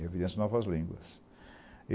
Em evidências de novas línguas.